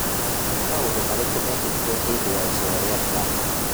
Nĩ maũndũ marĩkũ meekĩkire hĩndĩ ya iceera rĩa Trump?